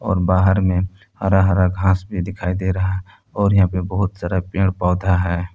और बाहर में हरा हरा घास भी दिखाई दे रहा है और यहां पे बहुत सारा पेड़ पौधा है।